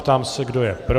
Ptám se, kdo je pro.